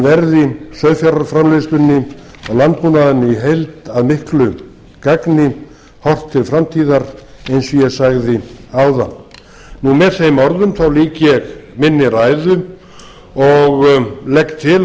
verði sauðfjárframleiðslunni og landbúnaðinum í heild að miklu gagni horft til framtíðar eins og ég sagði áðan með þeim orðum lýk ég minni ræðu og legg til að